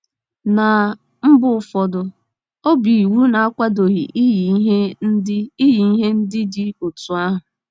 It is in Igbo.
Ná mba ụfọdụ, ọ bụ iwu na-akwadoghị iyi ihe ndị iyi ihe ndị dị otú ahụ.